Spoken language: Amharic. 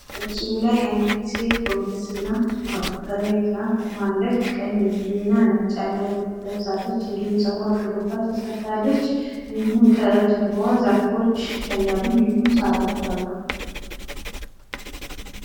በምስሉ ላይ አንዲት ሴት ጎንበስ ብላ ፣ መቆፈሪያ ይዛ ቆማለች ቀይ እና ነጭ ያለው ልብስ ለብሳለች እንዲሁም ጸጉሩዋን ሹሩባ ተሰርታለች ከጀርባ ዛፎች ይታያሉ እንዲሁም ሳሮች አሉ።